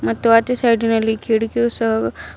ಮತ್ತು ಆಚೆ ಸೈಡಿನಲ್ಲಿ ಕಿಟಿಕಿಯು ಸಹ--